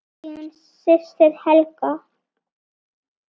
Þín systir Helga.